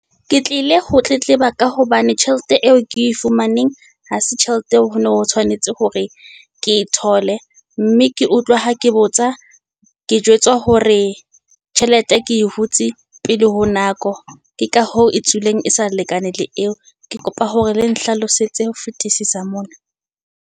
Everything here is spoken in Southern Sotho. Ke tlile ho tletleba ka hobane tjhelete eo ke e fumaneng ha se tjhelete eo ho no ho tshwanetse hore ke e thole. Mme ke utlwa ha ke botsa ke jwetswa hore tjhelete ke e hutsi pele ho nako. Ke ka hoo e tswileng e sa lekane le eo, ke kopa hore le nhlalosetse ho fetisisa mona.